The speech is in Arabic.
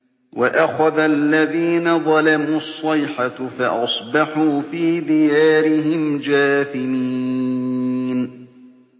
وَأَخَذَ الَّذِينَ ظَلَمُوا الصَّيْحَةُ فَأَصْبَحُوا فِي دِيَارِهِمْ جَاثِمِينَ